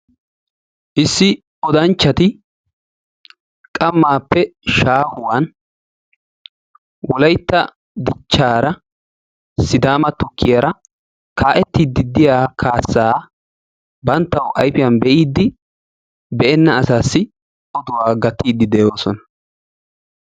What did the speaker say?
Issi odanchchati qammaappe shaahuwan Wolaytta dichchaara Sidaama Tukkiyaara kaa'ettiiddi de'iyaa kaassa banttawu ayfiyaan be'idi be'enna asaassi oduwa gattiiddi de'oosona.